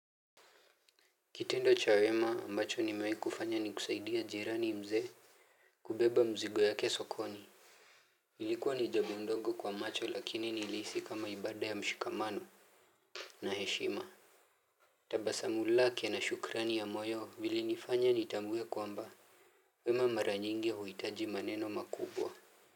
Kitendo cha wema ambacho nimewahi kufanya ni kusaidia jirani mzee. Kubeba mzigo yake sokoni. Nilikuwa ni jambo ndogo kwa macho lakini nilihisi kama ibada ya mshikamano na heshima. Tabasamu lake na shukurani ya moyo vilinifanya nitambue kwamba wema mara nyingi hauhitaji maneno makubwa.